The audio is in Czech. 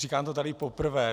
Říkám to tady poprvé.